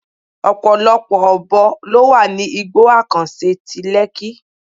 Ọ̀pọ̀lọpọ̀ Ọ̀bọ ló wà ní igbó àkànṣe ti Lekki.